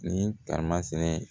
Ni tamasinɛ ye